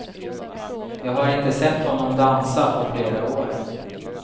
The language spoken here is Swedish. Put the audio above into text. Jag har inte sett honom dansa på flera år.